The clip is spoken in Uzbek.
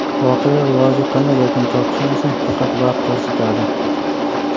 Voqealar rivoji qanday yakun topishini esa faqat vaqt ko‘rsatadi.